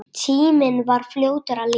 Tíminn var fljótur að líða.